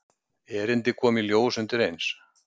Erindið kom í ljós undireins.